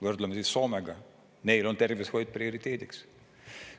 Võrdleme siis Soomega: neil on tervishoid prioriteediks.